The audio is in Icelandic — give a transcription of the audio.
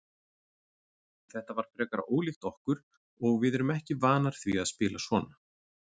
Þetta var frekar ólíkt okkur og við erum ekki vanar því að spila svona.